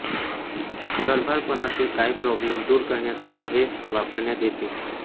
गर्भारपणातील काही प्रॉब्लेम दूर करण्यासाठी हे वापरण्यात येते